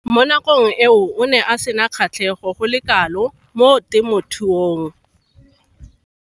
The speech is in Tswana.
Mo nakong eo o ne a sena kgatlhego go le kalo mo temothuong.